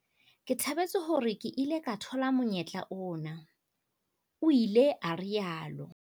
"Ke thabetse hore ke ile ka thola monyetla ona," o ile a rialo.